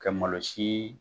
Ka malosi